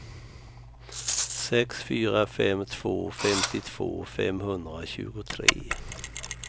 sex fyra fem två femtiotvå femhundratjugotre